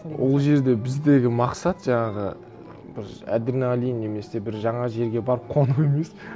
ол жерде біздегі мақсат жаңағы бір адреналин немесе бір жаңа жерге барып қону емес